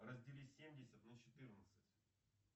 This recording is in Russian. раздели семьдесят на четырнадцать